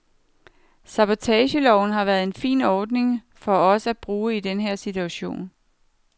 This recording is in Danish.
Sabbatorloven har været en fin ordning for os at bruge i den her situation.